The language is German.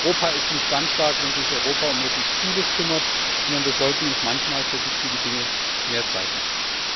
Europa ist nicht dann stark, wenn es sich um möglichst Vieles kümmert, sondern wir sollten uns manchmal für wichtige Dinge mehr Zeit nehmen.